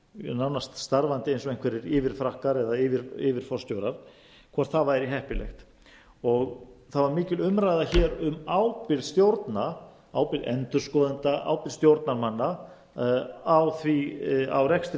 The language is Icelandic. nánast starfandi eins og einhverjir yfirfrakkar eða yfirforstjórar hvort það væri heppilegt það var mikil umræða um ábyrgð stjórna ábyrgð endurskoðenda ábyrgð stjórnarmanna á rekstri